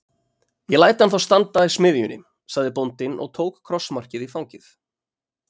Ég læt hann þá standa í smiðjunni, sagði bóndinn og tók krossmarkið í fangið.